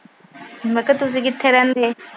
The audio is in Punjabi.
ਮੈਂ ਕਿਹਾ ਤੁਸੀਂ ਕਿੱਥੇ ਰਹਿੰਦੇ?